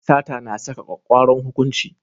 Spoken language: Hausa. Sata na saka kwakkwaran hukunci.